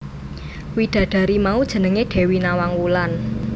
Widadari mau jenengé Dewi Nawang Wulan